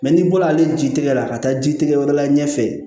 n'i bɔra ale ji tɛgɛ la ka taa ji tigɛ wɛrɛ la ɲɛfɛ